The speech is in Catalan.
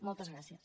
moltes gràcies